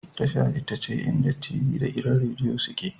Tasha ita ce inda t.v da gidan Rediyo suke